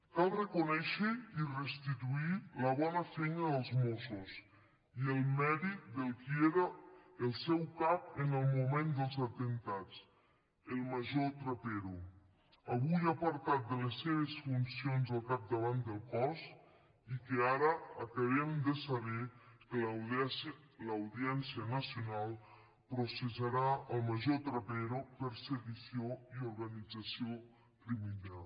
cal reconèixer i restituir la bona feina dels mossos i el mèrit del qui era el seu cap en el moment dels atemptats el major trapero avui apartat de les seves funcions al capdavant del cos i que ara acabem de saber que l’audiència nacional processarà el major trapero per sedició i organització criminal